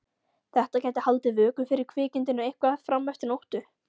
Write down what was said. Þetta gæti haldið vöku fyrir kvikindinu eitthvað fram eftir nóttu.